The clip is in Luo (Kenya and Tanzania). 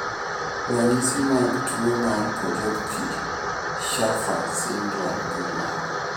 Ranyisi mag tuwo mar Potocki Shaffer syndrome gin mage?